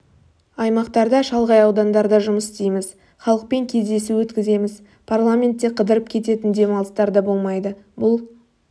аймақтарда шалғай аудандарда жұмыс істейміз халықпен кездесу өткіземіз парламентте қыдырып кететін демалыстар да болмайды бұл